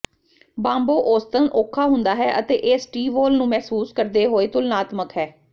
ਬਾਂਬੋ ਔਸਤਨ ਔਖਾ ਹੁੰਦਾ ਹੈ ਅਤੇ ਇਹ ਸਟੀਵੋਲ ਨੂੰ ਮਹਿਸੂਸ ਕਰਦੇ ਹੋਏ ਤੁਲਨਾਤਮਕ ਹੈ